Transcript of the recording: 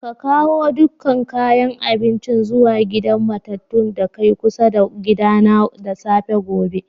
Ka kawo dukan kayan abincin zuwa gidan matatun da kai kusa da gida na da safafe gobe!